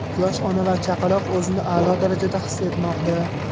Yosh ona va chaqaloq o‘zini a’lo darajada his etmoqda.